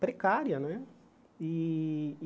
Precária, né? E